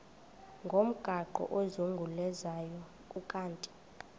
ngomgaqo ozungulezayo ukanti